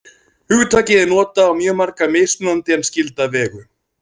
Hugtakið er notað á mjög marga mismunandi en skylda vegu.